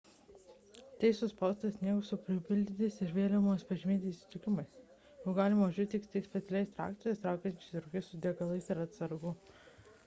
tai – suspaustas sniegas su pripildytais ir vėliavomis pažymėtais įtrūkimais juo galima važiuoti tik specialiais traktoriais traukiančiais roges su degalais ir atsargomis